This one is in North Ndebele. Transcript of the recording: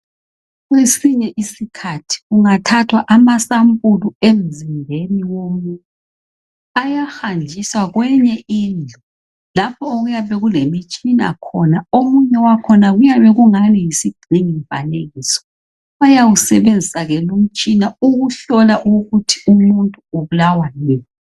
Kwesinye isikhathi kungathathwa amasampuli emzimbeni womuntu ayahanjiswa kwenye indlu lapho okuyabe kulemitshina khona omunye wakhona kuyabe kungani yisigxingi mfanekiso, bayawusebenzisa ke lumtshina ukuhlola ukuthi umuntu ubulawa yini.